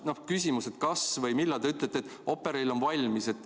Mul on küsimus: kas või millal te ütlete, et Operail on valmis?